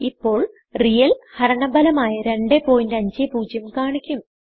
ഇപ്പോൾ റിയൽ ഹരണ ഭലമായ 250കാണിക്കും